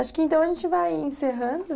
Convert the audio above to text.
Acho que, então, a gente vai encerrando.